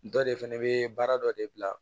Dɔ de fɛnɛ be baara dɔ de bila